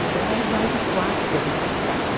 Então era mais o quarto que a gente ficava.